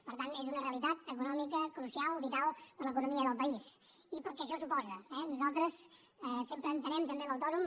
per tant és una realitat econòmica crucial vital per a l’economia del país i pel que això suposa eh nosaltres sempre entenem també l’autònom